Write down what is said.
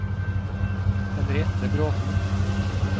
Henriette Bråten